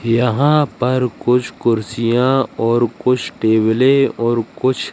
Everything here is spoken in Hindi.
यहां पर कुछ कुर्सियां और कुछ टेबलें और कुछ--